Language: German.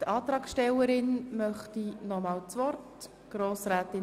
Die Antragstellerin wünscht noch einmal das Wort.